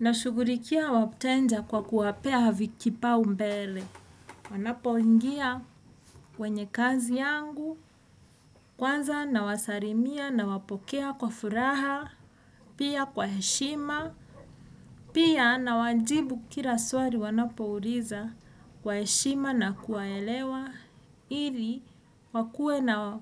Nashugulikia wateja kwa kuwapea kipaumbele. Wanapoingia kwenye kazi yangu. Kwanza nawasalimia, nawapokea kwa furaha. Pia kwa heshima, pia, nawajibu kira swali wanapouliza. Kwa heshima na kuwaelewa. Ili wakue na